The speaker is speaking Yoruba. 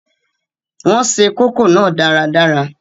Wọn se kókò náà dáradára